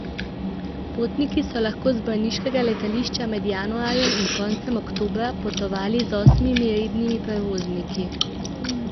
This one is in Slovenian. Potniki so lahko z brniškega letališča med januarjem in koncem oktobra potovali z osmimi rednimi prevozniki.